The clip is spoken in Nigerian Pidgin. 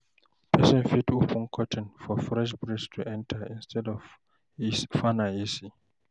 Person fit open curtain for fresh breeze to enter instead of fan and AC